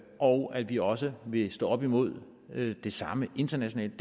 og at vi også vil stå op imod det samme internationalt